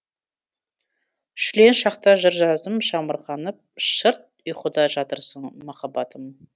шүлен шақта жыр жаздым шамырқанып шырт ұйқыда жатырсың махаббатым